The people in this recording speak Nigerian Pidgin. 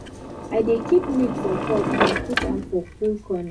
i dey keep milk for pot and put am for cool corner